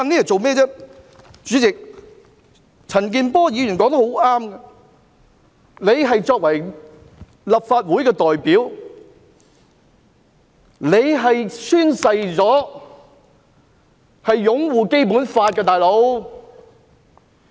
主席，陳健波議員說得很正確，他作為立法會代表，曾宣誓會擁護《基本法》。